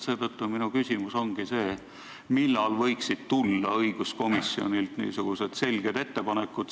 Seetõttu minu küsimus ongi see, millal võiksid tulla õiguskomisjonilt selged ettepanekud.